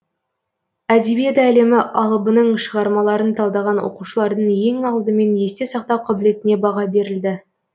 әдебиет әлемі алыбының шығармаларын талдаған оқушылардың ең алдымен есте сақтау қабілетіне баға берілді